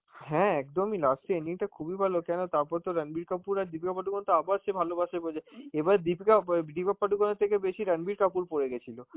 হ্যাঁ একদমই, last এ ending টা খুবই ভালো কেননা তারপর তো রাণবীর কাপুর আর দীপিকা পাডুকোন তো আবার সেই ভালবাসে বলছে, এবার দীপিকা~ ব দীপিকা পাডুকোনের থেকে বেশি রাণবীর কাপুর পরে গেছিল,